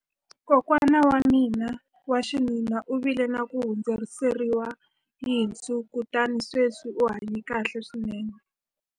kokwana wa mina wa xinuna u vile na ku hundziseriwa yinsu kutani sweswi u hanye kahle swinene